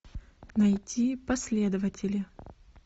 найти последователи